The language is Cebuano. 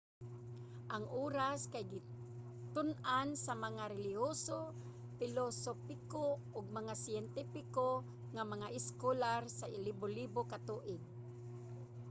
ang oras kay gitun-an sa mga relihiyoso pilosopiko ug mga siyentipiko nga mga eskolar sa libolibo ka tuig